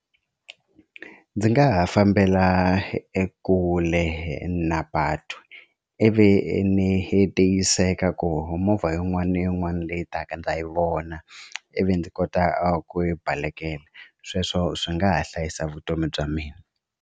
Ndzi nga ha fambela ekule na patu ivi ni tiyiseka ku movha yin'wana na yin'wana leyi taka ndza yi vona ivi ndzi kota ku yi balekela sweswo swi nga ha hlayisa vutomi bya mina.